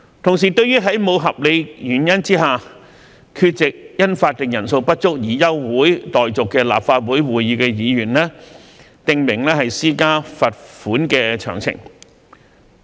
同時，對於在無合理原因下，缺席因法定人數不足而休會待續的立法會會議的議員，訂明施加罰款的詳情。